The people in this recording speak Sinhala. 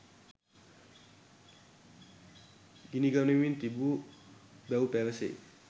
ගිනිගනිමින් තිබුණු බැව් පැවසේ